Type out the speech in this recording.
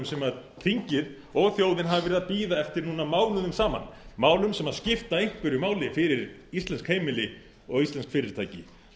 sem þingið og þjóðin hafa verið að bíða eftir mánuðum saman málum sem skipta einhverju máli fyrir íslensk heimili og íslensk fyrirtæki